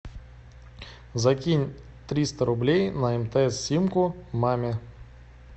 закинь триста рублей на мтс симку маме